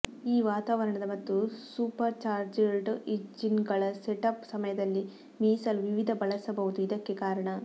ಈ ವಾತಾವರಣದ ಮತ್ತು ಸೂಪರ್ಚಾರ್ಜ್ಡ್ ಇಂಜಿನ್ಗಳ ಸೆಟಪ್ ಸಮಯದಲ್ಲಿ ಮೀಸಲು ವಿವಿಧ ಬಳಸಬಹುದು ಇದಕ್ಕೆ ಕಾರಣ